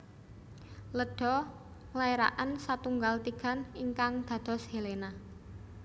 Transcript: Leda nglairaken satunggal tigan ingkang dados Helena